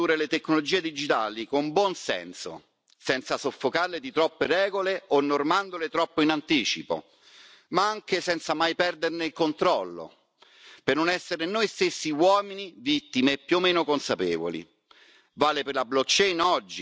Dobbiamo quindi essere in grado di condurre le tecnologie digitali con buon senso, senza soffocarle di troppe regole o normandole troppo in anticipo, ma anche senza mai perderne il controllo, per non essere noi stessi uomini vittime più o meno consapevoli.